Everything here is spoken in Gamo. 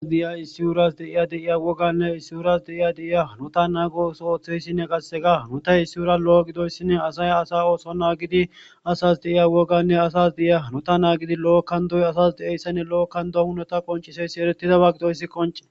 asdeya issuurias deiya deiya woganne issyuurias deiya deiya nuta naago oso ooththeyssinne qasse ga nu ta issuura lo7o gidoyssinne asay asa ooso naagidi asas deiya woganne asas deya nuta naagidi lo7okkandoy asas de7eyssinne lo7okkandohunota qonciseyssi eretidawa gidoyssi qonce